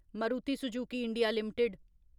Maruti Suzuki India limited